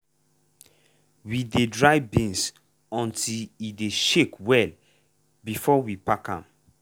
we dey dry beans until e dey shake well before we pack am.